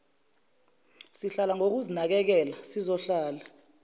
sihlala ngokuzinakekela sizohlala